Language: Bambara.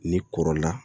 Ni kɔrɔla